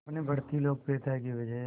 अपनी बढ़ती लोकप्रियता की वजह